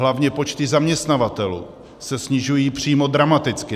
Hlavně počty zaměstnavatelů se snižují přímo dramaticky.